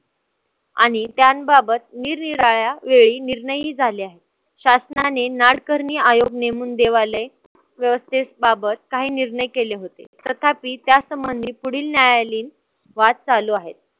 आणि त्यांबाबत निरनिराळ्या वेळी निर्णयही झाले आहेत. शासनाने नाडकर्णी आयोग नेमून देवालय व्यवस्थेबाबत काही निर्णय केले होते. तथापि त्यासंबंधी पुढील न्यायालयीन वाद चालू आहेत.